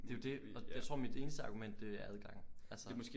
Det jo det og jeg tror mit eneste argument det er adgangen altså